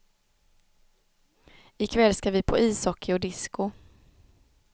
Ikväll ska vi på ishockey och disko.